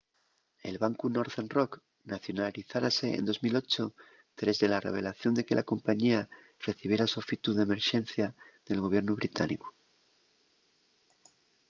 el bancu northern rock nacionalizárase en 2008 tres de la revelación de que la compañía recibiera sofitu d’emerxencia del gobiernu británicu